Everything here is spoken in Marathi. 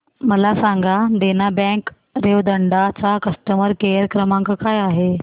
मला सांगा देना बँक रेवदंडा चा कस्टमर केअर क्रमांक काय आहे